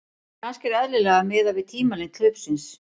En kannski er eðlilegra að miða við tímalengd hlaupsins.